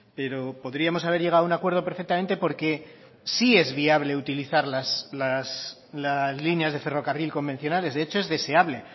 pero podríamos haber llegado a un acuerdo perfectamente porque sí es viable utilizar las líneas de ferrocarril convencionales de hecho es deseable